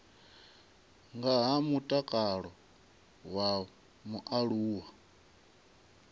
nga ha mutakalo wa mualuwa